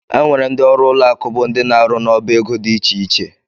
Enwere ndị ọrụ ụlọ akụ bụ ndị ná -aru n'ọbá égo dị iche iche.